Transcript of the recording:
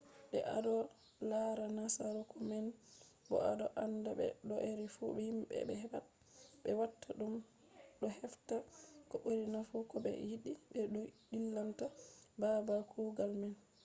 de ado lara nasaraku man bo ado anda be do’ere fu himbe be pat be watta dum do hefta ko buri nafu ko be yidi be ko dillinta babal kugal man